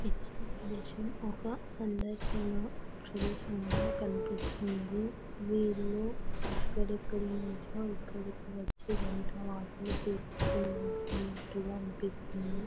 ఇచ్చిన ప్రదేశము ఒక సందర్శన ప్రదేశం లా కనిపిస్తుంది వీళ్ళు ఎక్కడెక్కడ నుంచో ఇక్కడకి వచ్చి వంటా వార్పులు చేసుకున్నట్లుగా అనిపిస్తుంది.